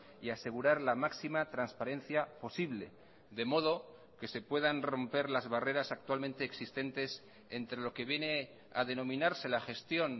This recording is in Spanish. y asegurar la máxima transparencia posible de modo que se puedan romper las barreras actualmente existentes entre lo que viene a denominarse la gestión